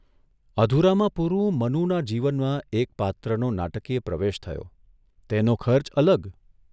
અધૂરામાં પુરું મનુના જીવનમાં એક પાત્રનો નાટકીય પ્રવેશ થયો તેનો ખર્ચ અલગ !